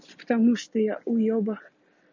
потому что я уёбок